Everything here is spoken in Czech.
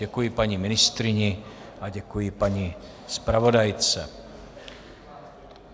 Děkuji paní ministryni a děkuji paní zpravodajce.